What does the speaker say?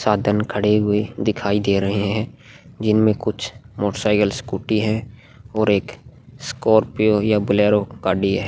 साधन खड़े हुए दिखाई दे रहे है जिन में कुछ मोटरसाइकल स्कूटी है और एक स्कोर्पीओ या बोलेरो गाड़ी है।